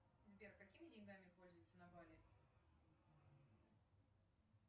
сбер какими деньгами пользуются на бали